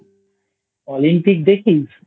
Olympic দেখিস?